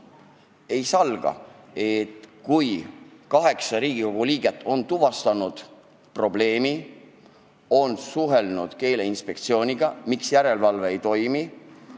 Ei salga, et kaheksa Riigikogu liiget on tuvastanud probleemi ja on suhelnud Keeleinspektsiooniga, uurides, miks järelevalve ei toimi.